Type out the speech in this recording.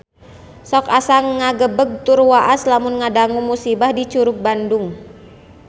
Sok asa ngagebeg tur waas lamun ngadangu musibah di Curug Bandung